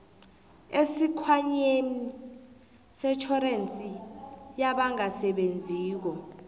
esikhwameni setjhorensi yabangasebenziko